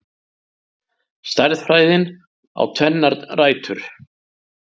Stærðfræðin á tvennar rætur.